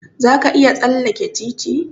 Za ka iya tsalleke titi?